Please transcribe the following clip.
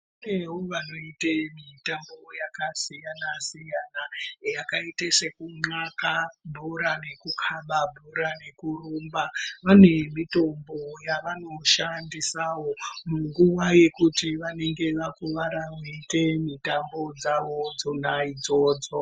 Kunewo vanoite mitambo yakasiyana siyana yakaite sekun'aka bhora nekukaba bhora nekurumba vane mitombo yavanoshandisawo munguwa yekuti vanenge vakuwara veiite mitambo dzawo dzona idzodzo.